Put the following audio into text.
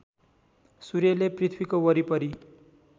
सूर्यले पृथ्वीको वरिपरि